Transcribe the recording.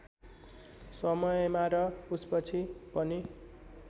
समयमा र उसपछि पनि